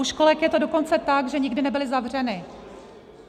U školek je to dokonce tak, že nikdy nebyly zavřeny.